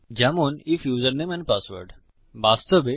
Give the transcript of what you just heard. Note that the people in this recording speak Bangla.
তাই আমরা বলতে পারি উদাহরণস্বরূপ আইএফ ইউসারনেম এন্ড পাসওয়ার্ড